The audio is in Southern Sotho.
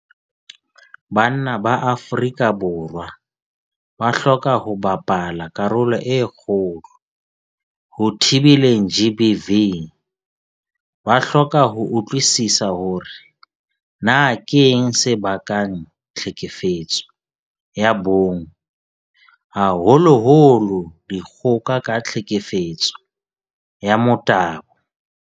Banna ba Afrika Borwa ba hloka ho bapala karolo e kgolo ho thibeleng GBV. Ba hloka ho utlwisisa hore na keng se bakang tlhekefetso ya bong, haholoholo dikgoka ka tlhekefetso ya motabo.